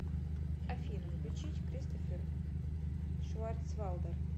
афина включить кристофер шварцвалдер